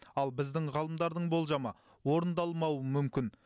ал біздің ғалымдардың болжамы орындалмауы мүмкін